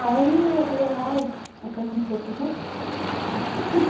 Aí eu falei, ai, eu quero conhecer outro lugar.